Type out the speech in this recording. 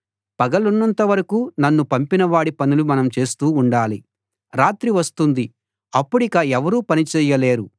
పగలున్నంత వరకూ నన్ను పంపిన వాడి పనులు మనం చేస్తూ ఉండాలి రాత్రి వస్తుంది అప్పుడిక ఎవరూ పని చేయలేరు